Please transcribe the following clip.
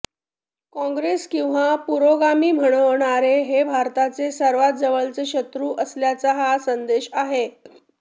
काँग्रेस किंवा पुरोगामी म्हणवणारे हे भारताचे सर्वात जवळचे शत्रू असल्याचा हा संदेश आहे